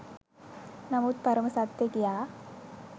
නමුත් පරම සත්‍ය කියා